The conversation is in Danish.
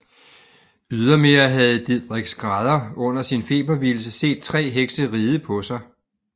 Ydermere havde Didrik skrædder under sin febervildelse set tre hekse ride på sig